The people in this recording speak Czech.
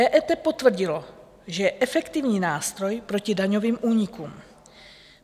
EET potvrdilo, že je efektivní nástroj proti daňovým únikům.